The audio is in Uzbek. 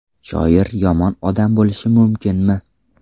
Shoir yomon odam bo‘lishi mumkinmi?!